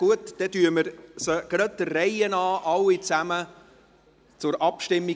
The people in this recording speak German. Dann bringen wir die Vorstösse der Reihe nach zur Abstimmung.